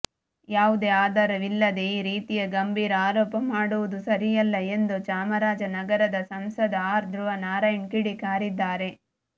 ಯಾವುದೇ ಆಧಾರವಿಲ್ಲದೆ ಈ ರೀತಿಯ ಗಂಭೀರ ಆರೋಪ ಮಾಡುವುದು ಸರಿಯಲ್ಲ ಎಂದು ಚಾಮರಾಜನಗರದ ಸಂಸದ ಆರ್ ಧ್ರುವನಾರಾಯಣ್ ಕಿಡಿ ಕಾರಿದ್ದಾರೆ